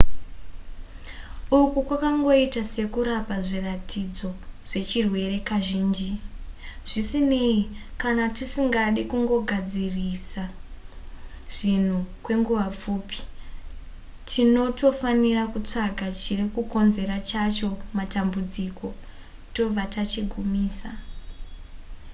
uku kwakangoita sekurapa zviratidzo zvechirwere kazhinji zvisinei kana tisingade kungogadzirisa zvinhu kwenguva pfupi tinotofanira kutsvaka chiri kukonzera chacho matambudziko tobva tachigumisa